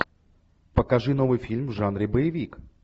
покажи новый фильм в жанре боевик